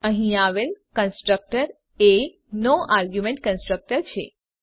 અહીં આવેલ કન્સ્ટ્રકટર એ નો આર્ગ્યુમેન્ટ કન્સ્ટ્રક્ટર છે